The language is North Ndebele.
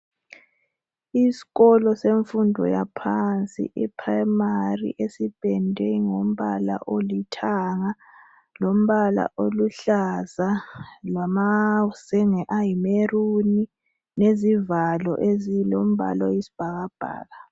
Iskolo senfundo yaphansi iprimary, esipendwe ngombala olithanga, lombala oluhlaza, lamazenge ayi maroon lezivalo ezilombala oyisibhakabhaka.